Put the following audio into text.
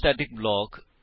spoken tutorial